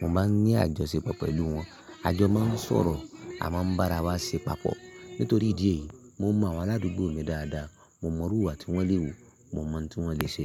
mo máa ń ní àjọṣepọ̀ pẹ̀lú wọn, a jọ máa ń sọ̀rọ̀, a máa ń bá ara wa ṣe papọ̀. Nítorí ìdí èyí, mo mọ àwọn aládùúgbò mi dáadáa. Mo mọ irú ìwà tí wọ́n lè wù, mo mọ ohun tí wọ́n lè ṣe.